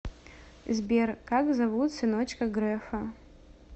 сбер как зовут сыночка грефа